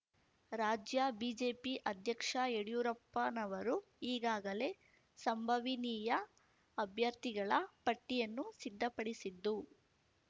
ರಾಜ್ಯ ಬಿಜೆಪಿ ಅಧ್ಯಕ್ಷ ಯಡ್ಯೂರಪ್ಪನವರು ಈಗಾಗಲೇ ಸಂಭವಿನೀಯ ಅಭ್ಯರ್ಥಿಗಳ ಪಟ್ಟಿಯನ್ನು ಸಿದ್ದಪಡಿಸಿದ್ದು